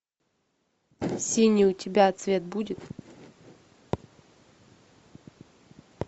синий у тебя цвет будет